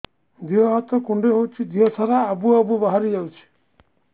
ଦିହ ହାତ କୁଣ୍ଡେଇ ହଉଛି ଦିହ ସାରା ଆବୁ ଆବୁ ବାହାରି ଯାଉଛି